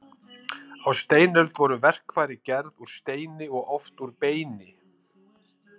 Á steinöld voru verkfæri gerð úr steini og oft úr beini.